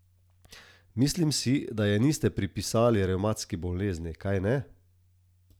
Mislim si, da je niste pripisali revmatski bolezni, kajne?